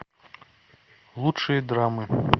лучшие драмы